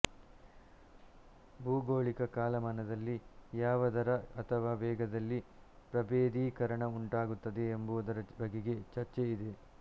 ಭೂಗೋಳಿಕ ಕಾಲಮಾನದಲ್ಲಿ ಯಾವ ದರ ಅಥವಾ ವೇಗದಲ್ಲಿ ಪ್ರಭೇದೀಕರಣ ಉಂಟಾಗುತ್ತದೆ ಎಂಬುದರ ಬಗೆಗೆ ಚರ್ಚೆ ಇದೆ